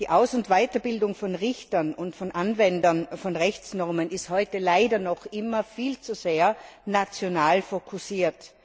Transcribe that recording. Die Aus und Weiterbildung von Richtern und von Anwendern von Rechtsnormen ist heute leider noch immer viel zu sehr national fokussiert.